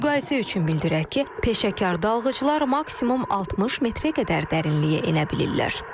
Müqayisə üçün bildirək ki, peşəkar dalğıclar maksimum 60 metrə qədər dərinliyə enə bilirlər.